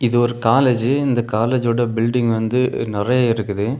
இது ஒரு காலேஜ் இந்த கலேஜோட பில்டிங் வந்து நெறய இருக்குது.